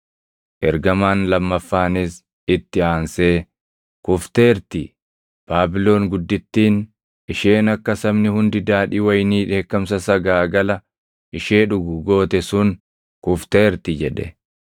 Ergamaan lammaffaanis itti aansee, “ ‘Kufteerti! Baabilon guddittiin’ isheen akka sabni hundi daadhii wayinii dheekkamsa sagaagala ishee dhugu goote sun kufteerti” jedhe.